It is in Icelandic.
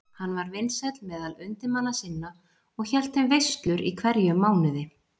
Hann var vinsæll meðal undirmanna sinna og hélt þeim veislur í hverjum mánuði.